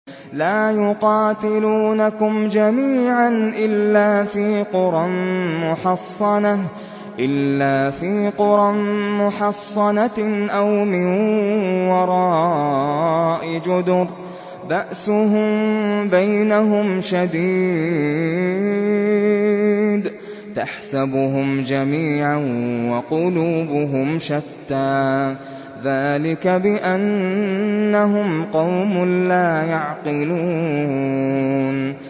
لَا يُقَاتِلُونَكُمْ جَمِيعًا إِلَّا فِي قُرًى مُّحَصَّنَةٍ أَوْ مِن وَرَاءِ جُدُرٍ ۚ بَأْسُهُم بَيْنَهُمْ شَدِيدٌ ۚ تَحْسَبُهُمْ جَمِيعًا وَقُلُوبُهُمْ شَتَّىٰ ۚ ذَٰلِكَ بِأَنَّهُمْ قَوْمٌ لَّا يَعْقِلُونَ